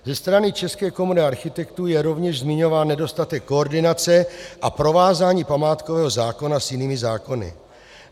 Ze strany České komory architektů je rovněž zmiňován nedostatek koordinace a provázání památkového zákona s jinými zákony.